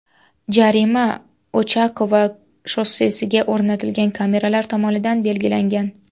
Jarima Ochakovo shossesiga o‘rnatilgan kameralar tomonidan belgilangan.